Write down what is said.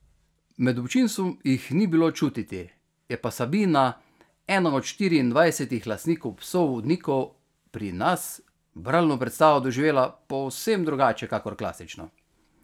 Med občinstvom jih ni bilo čutiti, je pa Sabina, ena od štiriindvajsetih lastnikov psov vodnikov pri nas, bralno predstavo doživela povsem drugače kakor klasično.